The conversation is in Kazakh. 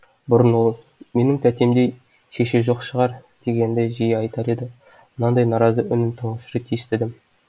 бұрын ол менің тәтемдей шеше жоқ шығар дегенді жиі айтар еді мынандай наразы үнін тұңғыш рет естідім